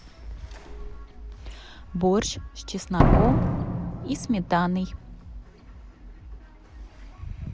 борщ с чесноком и сметаной